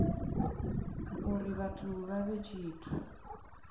uri vhathu vha vhe tshithu